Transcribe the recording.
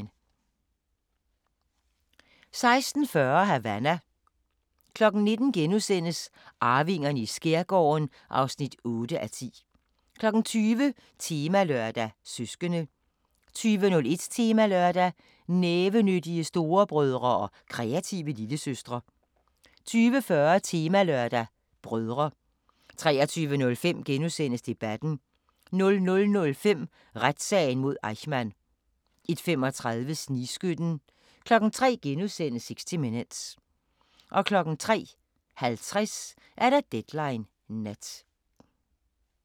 16:40: Havana 19:00: Arvingerne i skærgården (8:10)* 20:00: Temalørdag: Søskende 20:01: Temalørdag: Nævenyttige storebrødre og kreative lillesøstre 20:40: Temalørdag: Brødre 23:05: Debatten * 00:05: Retssagen mod Eichmann 01:35: Snigskytten 03:00: 60 Minutes * 03:50: Deadline Nat